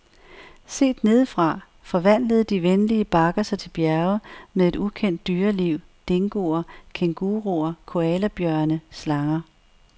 Set nedefra forvandlede de venlige bakker sig til bjerge med et ukendt dyreliv, dingoer, kænguruer, koalabjørne, slanger.